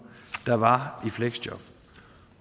der var i fleksjob